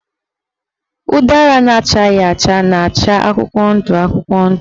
Ụdara na-achaghị acha na-acha akwụkwọ ndụ akwụkwọ ndụ.